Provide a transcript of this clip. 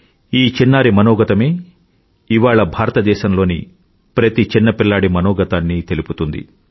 ఈ చిన్నారి మనోగతమే ఇవాళ భారతదేశంలోని ప్రతి చిన్నపిల్లాడి మనగతాన్నీ తెలుపుతుంది